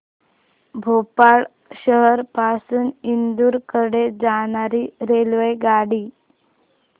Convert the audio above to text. भोपाळ शहर पासून इंदूर कडे जाणारी रेल्वेगाडी